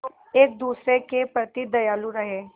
एक दूसरे के प्रति दयालु रहें